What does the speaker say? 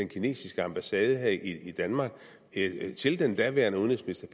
kinesiske ambassade her i danmark til den daværende udenrigsminister